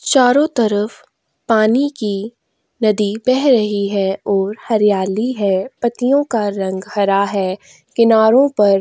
चारों तरफ पानी की नदी बह रही है और हरियाली है पत्तियों का रंग हरा है किनारों पर --